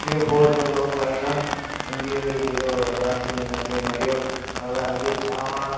ఈఫొటోలో పైన ఉంది ఎదో రాసి ఉన్నది మరియు అలాగే చాలా--